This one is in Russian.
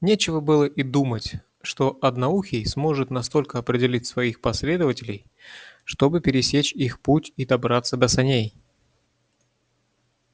нечего было и думать что одноухий сможет настолько опередить своих последователей чтобы пересечь их путь и добраться до саней